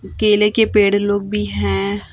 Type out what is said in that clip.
केले के पेड़ लोग भी हैं।